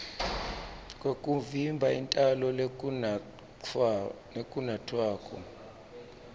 kwekuvimba intalo lokunatfwako